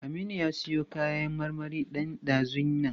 Aminu ya siyo kayan marmari ɗan ɗazun nan.